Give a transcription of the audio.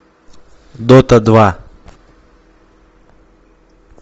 дота два